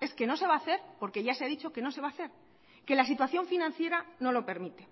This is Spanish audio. es que no se va a hacer porque ya se ha dicho que no se va a hacer que la situación financiera no lo permite